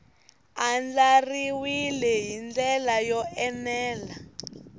andlariwile hi ndlela yo enela